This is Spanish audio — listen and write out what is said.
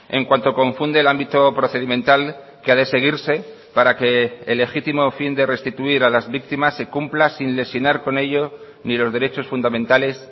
en cuanto confunde el ámbito procedimental que ha de seguirse para que el legítimo fin de restituir a las víctimas se cumpla sin lesionar con ello ni los derechos fundamentales